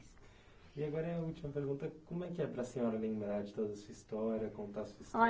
E agora é a última pergunta, como é que é para a senhora lembrar de toda a sua história, contar sua história?